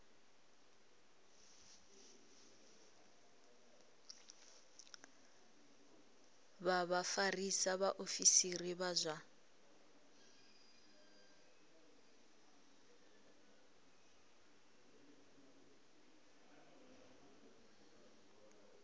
vha vhafarisa vhaofisiri vha zwa